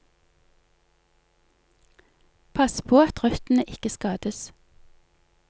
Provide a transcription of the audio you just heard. Pass på at røttene ikke skades.